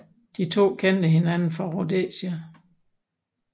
De to kendte hinanden fra Rhodesia